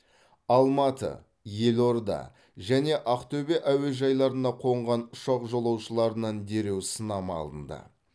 алматы елорда және ақтөбе әуежайларына қонған ұшақ жолаушыларынан дереу сынама алынды